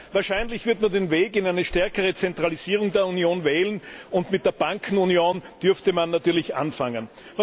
Wahrscheinlich wird man den Weg in eine stärkere Zentralisierung der Union wählen, und mit der Bankenunion dürfte man natürlich anfangen.